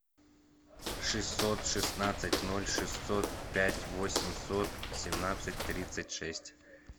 шестьсот шестнадцать ноль шестьсот пять восемьсот семнадцать тридцать шесть